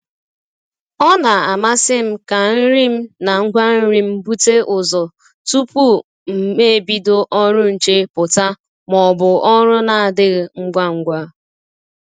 Ọ na amasị m ka nri m na ngwa nri m bute ụzọ tupu m ebido ọrụ nche pụta ma ọ bụ ọrụ na adịghị ngwa ngwa